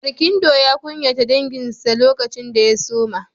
Barkindo ya kunyata danginsa lokacin da ya suma.